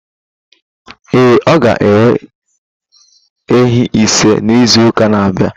Ee, ọ ga enwe ehi isii n'izuụka na abia.